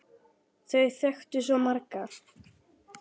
Þau þekktu svo marga.